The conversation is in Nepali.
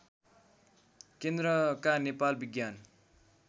केन्द्रका नेपाल विज्ञान